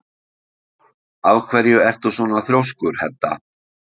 Af hverju ertu svona þrjóskur, Hedda?